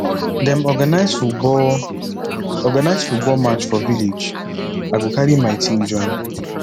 dem organize football organize football match for village i go carry my team join